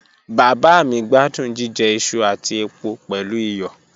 Baba mi gbadun jijẹ iṣu ati epo pẹlu iyọ